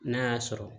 N'a y'a sɔrɔ